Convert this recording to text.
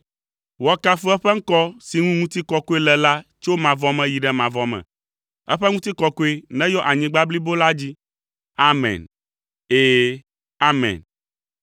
Woakafu eƒe ŋkɔ si ŋu ŋutikɔkɔe le la tso mavɔ me yi ɖe mavɔ me; eƒe ŋutikɔkɔe neyɔ anyigba blibo la dzi.